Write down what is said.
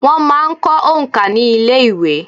Wọ́n máa ń kọ́ òǹkà ní ilé ìwé.